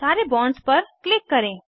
सारे बॉन्ड्स पर क्लिक करें